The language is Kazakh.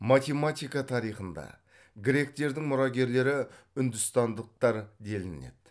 матемактика тарихында гректердің мұрагерлері үндістандықтар делінеді